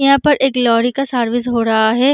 यहाँ पर एक लौरी का सार्विस हो रहा है।